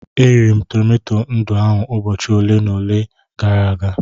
E riri m tomato ndụ ahụ ụbọchị ole na ole gara aga.